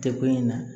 Tɛ ko in na